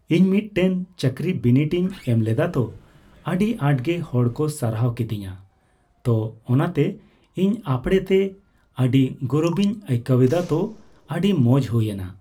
ᱤᱧ ᱢᱤᱫᱴᱮᱱ ᱪᱟᱹᱠᱨᱤ ᱵᱤᱱᱤᱰ ᱤᱧ ᱮᱢᱞᱮᱫᱟ ᱛᱚ ᱟᱹᱰᱤ ᱟᱸᱴᱜᱮ ᱦᱚᱲᱠᱚ ᱥᱟᱨᱦᱟᱣ ᱠᱤᱫᱤᱧᱟ ᱛᱚ ᱚᱱᱟᱛᱮ ᱤᱧ ᱟᱯᱲᱮᱛᱮ ᱟᱹᱰᱤ ᱜᱚᱨᱚᱵᱤᱧ ᱟᱹᱭᱠᱟᱹᱣᱮᱫᱟ ᱛᱚ ᱟᱹᱰᱤ ᱢᱚᱸᱡ ᱦᱩᱭᱮᱱᱟ ᱾